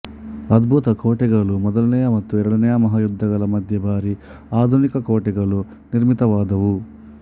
ಅದ್ಭುತ ಕೋಟೆಗಳು ಮೊದಲನೆಯ ಮತ್ತು ಎರಡನೆಯ ಮಹಾಯುದ್ಧಗಳ ಮಧ್ಯೆ ಭಾರಿ ಆಧುನಿಕ ಕೋಟೆಗಳು ನಿರ್ಮಿತವಾದುವು